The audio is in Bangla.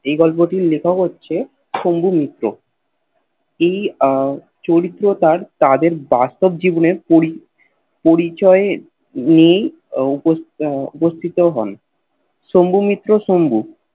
এই গল্পটির লেখক হচ্ছে শম্ভু মিত্র এই চরিত্র তার তাদের বাস্তব জীবনের পড়ি পরিচয় নিয়ে উপস্থিত হন শম্ভু মিত্র শম্ভু